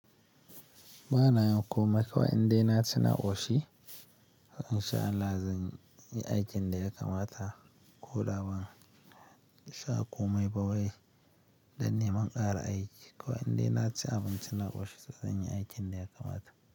Ba na yin komai kuwa indai na ci na ƙoshi, amma in sha Allah zan yi aikin da ya kamata. Ko da ba shaƙomai ba wai, dan neman ƙara aiki. Ko indai na ci abinci na ƙoshi, zan yi aikin da ya kamata.